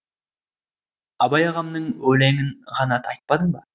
абай ағамның өленің ғана айтпадың ба